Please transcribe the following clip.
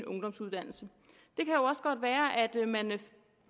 ungdomsuddannelse det kan også godt være at man